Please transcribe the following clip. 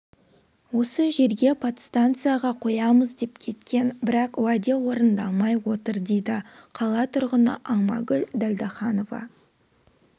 осы жерге подстанцияға қоямыз деп кеткен бірақ уәде орындалмай отыр дейді қала тұрғыны алмагүл дәлдаханова